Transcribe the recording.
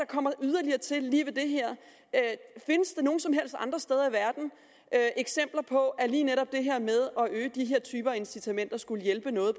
kommer yderligere til lige ved det her findes der nogen som helst andre steder i verden eksempler på at lige netop det her med at incitamenter skulle hjælpe noget